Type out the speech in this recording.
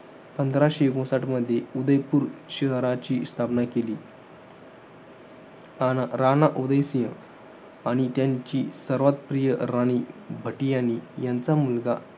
पंधराशे एकोणसाठमध्ये उदयपुर शहराची स्थापना केली. राणा, राणा उदयसिंग आणि त्यांची सर्वात प्रिय राणी भाटीयानी यांचा मुलगा,